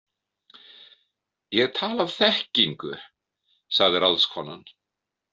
Ég tala af þekkingu, sagði ráðskonan.